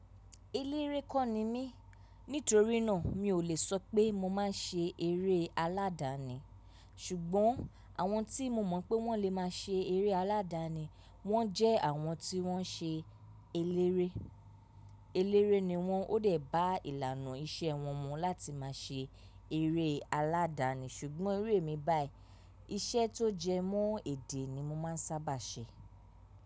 Eléré kọ́ ni mí, nítorí náà mi ò lè sọ pé mo máa ń ṣe eré aládani. Ṣùgbọ́n àwọn tí mo mọ̀ pé wọ́n lè máa ṣe eré aládani, wọ́n jẹ́ àwọn tí wọ́n ṣe eléré. Eléré ni wọ́n ó dẹ̀ bá ìlànà iṣẹ́ wọn mu láti máa ṣe eré aládani. Ṣùgbọ́n iru emi báyìí, iṣẹ́ tó jẹ mọ́ èdè ni mo máa ń sábà ṣe.